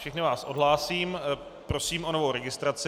Všechny vás odhlásím, prosím o novou registraci.